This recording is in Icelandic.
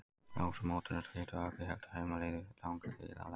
Loks var mótinu slitið og allir héldu heim á leið í langri bílalest.